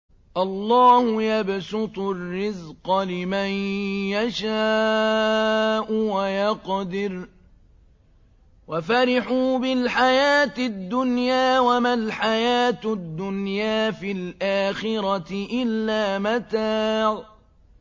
اللَّهُ يَبْسُطُ الرِّزْقَ لِمَن يَشَاءُ وَيَقْدِرُ ۚ وَفَرِحُوا بِالْحَيَاةِ الدُّنْيَا وَمَا الْحَيَاةُ الدُّنْيَا فِي الْآخِرَةِ إِلَّا مَتَاعٌ